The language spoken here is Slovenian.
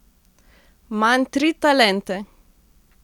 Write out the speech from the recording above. Manj tri talente.